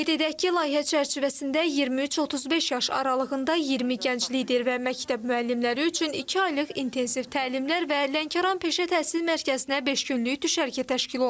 Qeyd edək ki, layihə çərçivəsində 23-35 yaş aralığında 20 gənc lider və məktəb müəllimləri üçün iki aylıq intensiv təlimlər və Lənkəran Peşə Təhsil Mərkəzinə beş günlük düşərgə təşkil olunub.